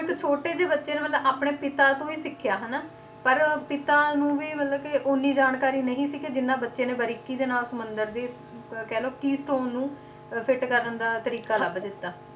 ਇੱਕ ਛੋਟੇ ਜਿਹੇ ਬੱਚੇ ਨੇ ਮਤਲਬ ਆਪਣੇ ਪਿਤਾ ਤੋਂ ਹੀ ਸਿੱਖਿਆ ਹਨਾ ਪਰ ਪਿਤਾ ਨੂੰ ਵੀ ਮਤਲਬ ਕਿ ਓਨੀ ਜਾਣਕਾਰੀ ਨਹੀਂ ਸੀ ਕਿ ਜਿੰਨਾ ਬੱਚੇ ਨੇ ਬਰੀਕੀ ਦੇ ਨਾਲ ਸਮੁੰਦਰ ਦੀ ਅਹ ਕਹਿ ਲਓ keystone ਨੂੰ ਅਹ fit ਕਰਨ ਦਾ ਤਰੀਕਾ ਲੱਭ ਦਿੱਤਾ।